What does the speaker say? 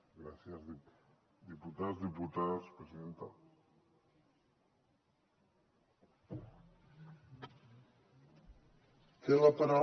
gràcies diputats diputades presidenta